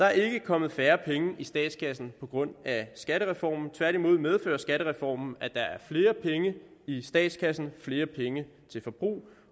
er ikke kommet færre penge i statskassen på grund af skattereformen tværtimod medfører skattereformen at der er flere penge i statskassen flere penge til forbrug